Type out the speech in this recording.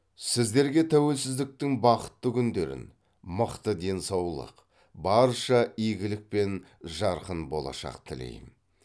сіздерге тәуелсіздіктің бақытты күндерін мықты денсаулық барша игілік пен жарқын болашақ тілейм